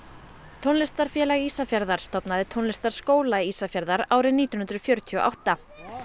tónlistarfélag Ísafjarðar stofnaði Tónlistarskóla Ísafjarðar árið nítján hundruð fjörutíu og átta